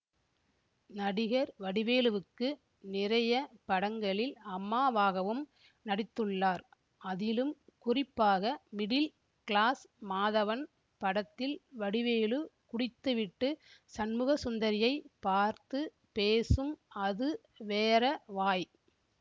நடிகர் வடிவேலுவுக்கு நிறைய படங்களில் அம்மாவாகவும் நடித்துள்ளார் அதிலும் குறிப்பாக மிடில் க்ளாஸ் மாதவன் படத்தில் வடிவேலு குடித்துவிட்டு சண்முகசுந்தரியை பார்த்து பேசும் அது வேற வாய்